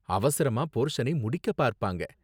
அவசரமா போர்சனை முடிக்க பார்ப்பாங்க.